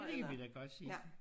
Det kan vi da godt sige